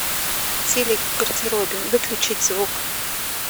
телек в гардеробе выключить звук